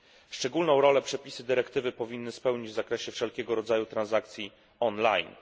Szczególną rolę przepisy dyrektywy powinny spełnić w zakresie wszelkiego rodzaju transakcji online.